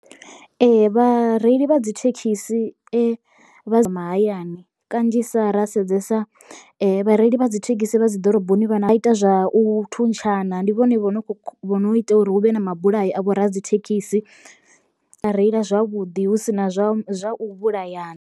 Ee vhareili vha dzi thekhisi vha mahayani kanzhisa ra sedzesa vhareili vha dzi thekhisi vha dzi ḓoroboni vhana vha ita zwa u thuntshana ndi vhone vho no vho no ita uri hu vhe na mabulayo a vho radzithekhisi vha reila zwavhuḓi hu si na zwa zwa u vhulayana.